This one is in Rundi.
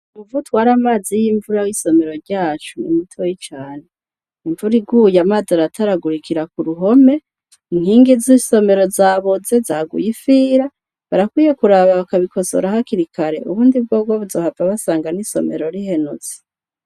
umuvo utwari amazi y'imvura w'isomero ryacu nimutoyi cane imvura iguye amazi arataragurikira ku ruhome inkingi z'isomero zaboze zaguye ifira barakwiye kuraba bakabikosora hakiri kare ubundi bwobwo bazohava basanga n'isomero rihenutse.